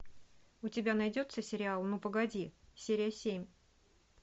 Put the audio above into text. у тебя найдется сериал ну погоди серия семь